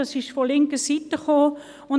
Dies wurde von linker Seite eingebracht.